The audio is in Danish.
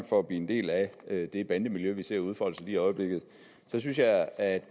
for at blive en del af det det bandemiljø vi ser udfolde sig lige i øjeblikket så synes jeg at